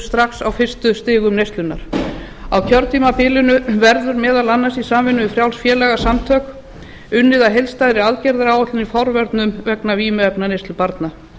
strax á fyrstu stigum neyslunnar á kjörtímabilinu verður meðal annars í samvinnu við frjáls félagasamtök unnið að heildstæðri aðgerðaáætlun í forvörnum vegna vímuefnaneyslu barna